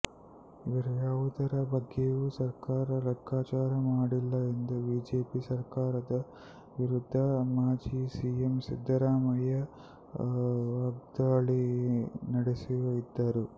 ಇವರು ಯಾವುದರ ಬಗ್ಗೆಯೂ ಸರ್ಕಾರ ಲೆಕ್ಕಾಚಾರ ಮಾಡಿಲ್ಲ ಎಂದು ಬಿಜೆಪಿ ಸರ್ಕಾರದ ವಿರುದ್ಧ ಮಾಜಿ ಸಿಎಂ ಸಿದ್ದರಾಮಯ್ಯ ವಾಗ್ದಾಳಿ ನಡೆಸಿದರು